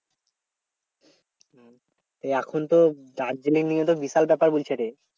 তা এখনতো দার্জিলিং নিয়ে তো বিশাল কথা বলছে রে